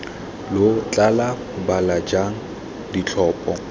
lo tla bala jang ditlhopho